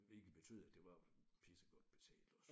Hvilket betød at det var pissegodt betalt også